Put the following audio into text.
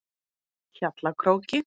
Hjallakróki